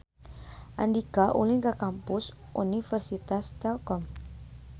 Andika ulin ka Kampus Universitas Telkom